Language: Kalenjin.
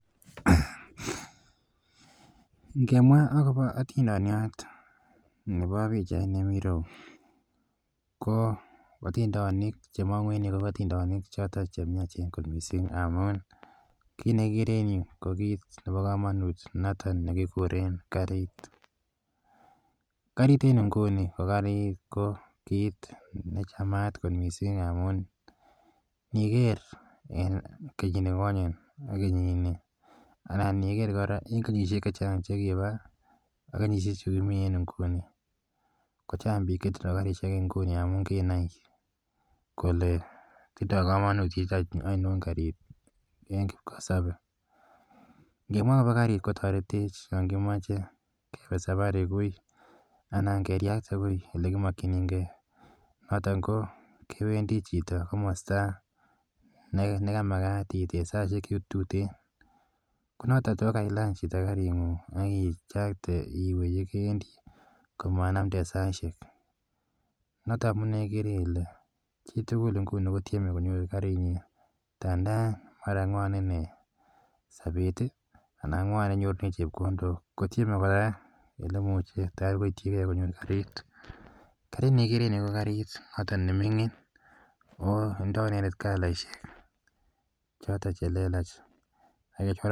Ngemwa akopa atindonot nepo pichaini mi ro yu, ko atindonik che mang'u ko atindonik chotok che miachen kot missing' amun kit ne kikere eng' ko kit nepo kamanut notok ne kikuren karit. Karit en inguni ko kalechin kit ne chamat kot missing' amun niker en kenyinikonye ak kenyit ni anan iker kora kenyishek che chang' che kikopa ak kenyishe chu kimi eng' nguni ko chang' pik che tindai karishek eng' nguni amu kinai kole tindai kamanutiet ainon karit eng' kipkosope. Ngimwae akopa karit kontaretech yan kimache kepe sapari anan keriakte wui ole kimakchinigei. Noton ko kewendi chito komasta ne ka makat ipaishe saishek tuteen. Ko yache chito ipany karing'ung' ak ichakte iwe ye kewendi ko manamden saishek. Notok ko ikere ile chi tugul ko tieme konyor karinyi ndanda mwan ine sapet anan mwan ole inyorchi chepkondok, kotieme kora konyorchigei karit. Karit ne kikere en yu ko notok ne mining' ako tindai ine kalaishek chotok che lelach.